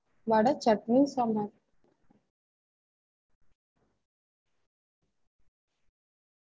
ஆஹ் இட்லி, தோச இது ரெண்டும் ஒரே இதுத நீங்க வேணுனா இட்லி, பூரி, பொங்கல் அப்படிவேனா போட்டுகோங்க